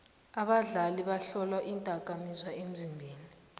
abadlali bahlolwa iindakamizwa emzimbeni